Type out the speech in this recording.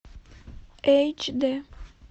эйч дэ